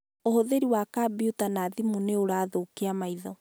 ũhũthĩri wa kambyuta na thimũ nĩ ũrathũkia maitho